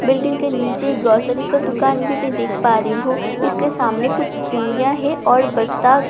Building के नीचे एक ग्रोसरी का दुकान भी मैं देख पा रही हूं इसके सामने कुछ सीढि़यां हैं और बस्‍ता खरा हुआ है।